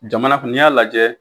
Jamana kun n'i y'a lajɛ